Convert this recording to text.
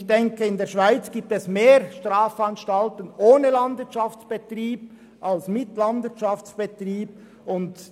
Ich denke, dass es in der Schweiz mehr Strafanstalten ohne Landwirtschaftsbetrieb als mit einem solchen gibt.